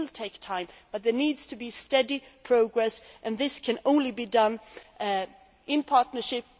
It will take time, but there needs to be steady progress, and this can only happen in partnership.